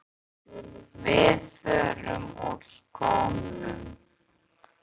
Við förum úr skónum.